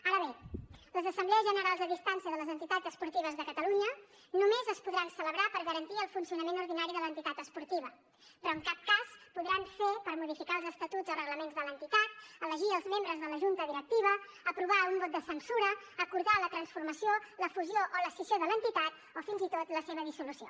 ara bé les assemblees generals a distància de les entitats esportives de catalunya només es podran celebrar per garantir el funcionament ordinari de l’entitat esportiva però en cap cas podran fer per modificar els estatuts o reglaments de l’entitat elegir els membres de la junta directiva aprovar un vot de censura acordar la transformació la fusió o l’escissió de l’entitat o fins i tot la seva dissolució